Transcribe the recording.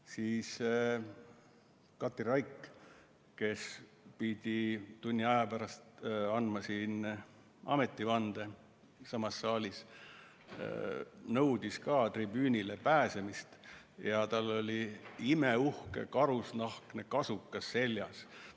Siis Katri Raik, kes pidi tunni aja pärast andma ametivande siinsamas saalis, nõudis ka tribüünile pääsemist ja tal oli imeuhke karusnahkne kasukas seljas.